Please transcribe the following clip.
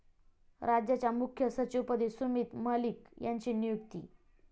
राज्याच्या मुख्य सचिवपदी सुमित मलिक यांची नियुक्ती